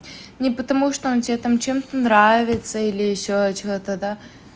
не потому что он тебе там чем-то нравится или ещё что-то да